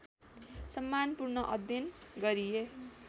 सम्मानपूर्ण अध्ययन गरिए